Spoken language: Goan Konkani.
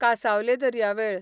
कासांवले दर्यावेळ